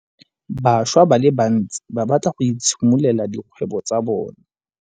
Bašwa ba le bantsi ba batla go itshimololela dikgwebo tsa bona.